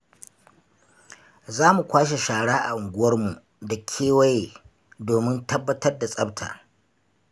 Zamu kwashe shara a unguwarmu da kewa domin tabbatar da tsafta.